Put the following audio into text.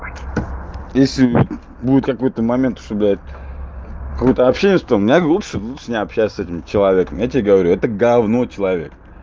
если будет какой-то момент что блядь какое-то общение что меня лучше лучше не общайся с этим человеком я тебе говорю это говно человек